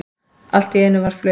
Allt í einu var flautað.